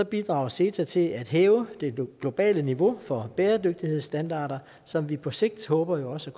bidrager ceta til at hæve det globale niveau for bæredygtighedsstandarder som vi på sigt håber også